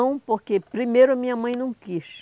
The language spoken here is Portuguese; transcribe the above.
Não, porque primeiro a minha mãe não quis.